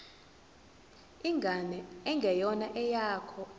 ingane engeyona eyakho